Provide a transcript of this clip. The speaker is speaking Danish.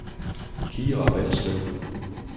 Kira Balslev